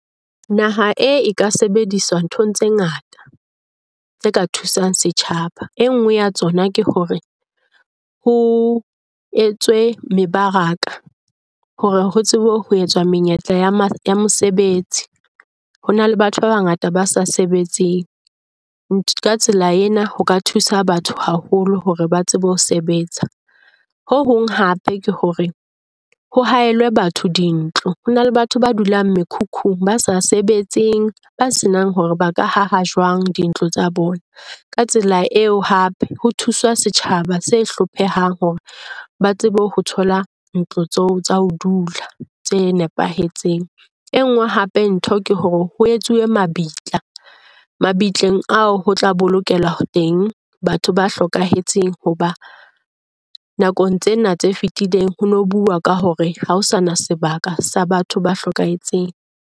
Naha ena e ka sebediswa nthong tse ngata tse ka thusang setjhaba. E nngwe ya tsona ke hore ho etswe mebaraka hore ho tsebe ho etswa menyetla ya mosebetsi. Ho na le batho ba bangata ba sa sebetseng. Ka tsela ena ho ka thusa batho haholo hore ba tsebe ho sebetsa. Ho hong hape ke hore ho haelwe batho dintlo, ho na le batho ba dulang mekhukhung, ba sa sebetseng, ba senang hore ba ka aha jwang dintlo tsa bona. Ka tsela eo hape ho thusa setjhaba se hlophehang hore ba tsebe ho thola ntlo tsa ho dula, tse nepahetseng. E nngwe hape ntho ke hore ho etsuwe mabitla. Mabitleng ao ho tla bolokeloa teng batho ba hlokahetseng hoba nakong tsena tse fetileng ho no bua ka hore ha ho sana sebaka sa batho ba hlokahetseng.